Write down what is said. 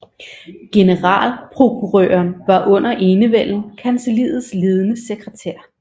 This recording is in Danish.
Generalprokurøren var under enevælden kancelliets ledende sekretær